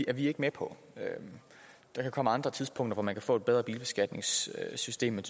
er vi ikke med på der kan komme andre tidspunkter hvor man kan få et bedre bilbeskatningssystem men